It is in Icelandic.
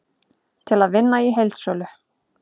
Til að vinna í heildsölu